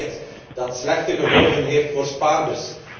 Het is een beleid dat slechte gevolgen heeft voor spaarders.